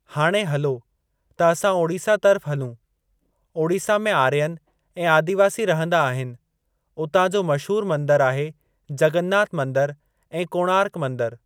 हाणे हलो त असां ओडिसा तर्फ़ु हलूं ओडिसा में आर्यनि ऐं आदिवासी रहंदा आहिनि उतां जो मशहूर मंदरु आहे जगन्नाथ मंदिर ऐं कोणार्क मंदरु।